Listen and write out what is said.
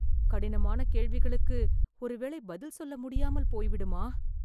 கடினமான கேள்விகளுக்கு ஒரு வேளை பதில் சொல்ல முடியாமல் போய்விடுமா